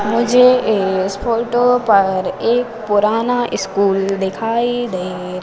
मुझे इस फोटो पर एक पुराना स्कूल दिखाई दे--